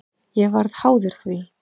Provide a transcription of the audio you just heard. Ég varð háður því.